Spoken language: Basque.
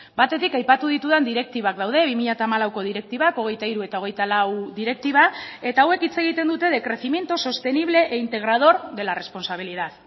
batetik aipatu ditudan direktibak daude bi mila hamalauko direktibak hogeita hiru eta hogeita lau direktiba eta hauek hitz egiten dute de crecimiento sostenible e integrador de la responsabilidad